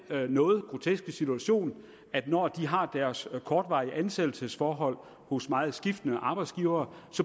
noget groteske situation at når de har deres kortvarige ansættelsesforhold hos meget skiftende arbejdsgivere